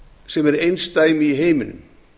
sem er einsdæmi í heiminum